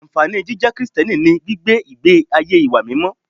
Ànfàní jíjẹ́ Krìsìtẹ́nì ni gbígbé ìgbé ayé ìwà mímọ́